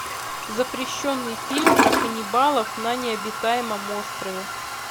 запрещенный фильм про каннибалов на необитаемом острове